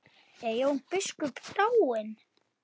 Er Jón biskup dáinn?